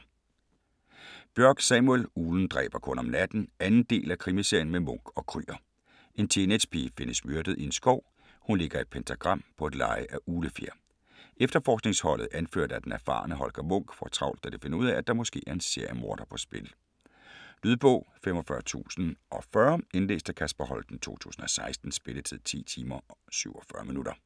Bjørk, Samuel: Uglen dræber kun om natten 2. del af Krimiserien med Munch & Krüger. En teenagepige findes myrdet i en skov. Hun ligger i et pentagram. På et leje af uglefjer. Efterforskningsholdet, anført af den erfarne Holger Munch, får travlt da de finder ud af, at der måske er en seriemorder på spil. Lydbog 45040 Indlæst af Kasper Holten, 2016. Spilletid: 10 timer, 47 minutter.